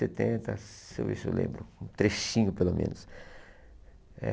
setenta. Se ver se eu lembro, um trechinho pelo menos. Eh